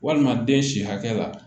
Walima den si hakɛ la